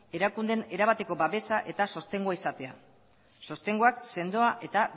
erakundeen erabateko babesa eta sostengoa izatea sostengoak sendoa eta